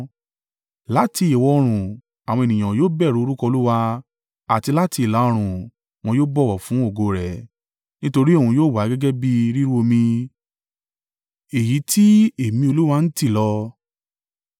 Láti ìwọ̀-oòrùn, àwọn ènìyàn yóò bẹ̀rù orúkọ Olúwa, àti láti ìlà-oòrùn, wọn yóò bọ̀wọ̀ fún ògo rẹ̀. Nítorí òun yóò wá gẹ́gẹ́ bí i rírú omi èyí tí èémí Olúwa ń tì lọ.